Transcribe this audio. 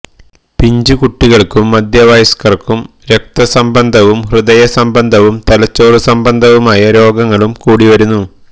പിഞ്ചുകുട്ടികള്ക്കും മധ്യവയസ്കര്ക്കും രക്തസംബന്ധവും ഹൃദയ സംബന്ധവും തലച്ചോര് സംബന്ധവുമായ രോഗങ്ങളും കൂടിവരുന്നു